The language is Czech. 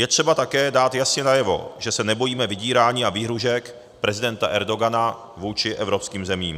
Je třeba také dát jasně najevo, že se nebojíme vydírání a výhrůžek prezidenta Erdogana vůči evropským zemím.